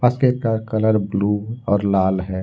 का colour blue और लाल है।